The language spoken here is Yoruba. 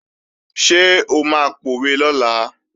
Ṣé o máa pòwe lọ́la?